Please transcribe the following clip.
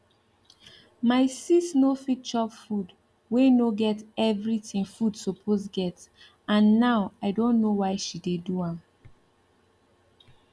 my sis nor fit chop food wey nor get everything food suppose get and now i don know why she dey do am